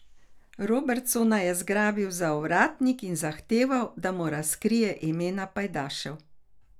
Robertsona je zgrabil za ovratnik in zahteval, da mu razkrije imena pajdašev.